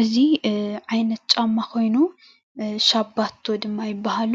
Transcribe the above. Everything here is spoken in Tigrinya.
እዚ ምስሊ ሻባቶ ዝበሃል ኮይኑ